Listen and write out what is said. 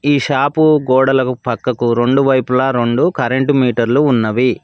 ఈ షాపు గోడలకు పక్కకు రెండు వైపులా రెండు కరెంటు మీటర్లు ఉన్నవి.